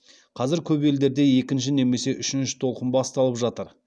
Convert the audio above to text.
қазір көп елдерде екінші немесе үшінші толқын басталып жатыр